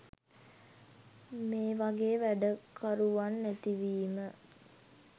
මේවගේ වැඩකරුවන් නැතිවීම.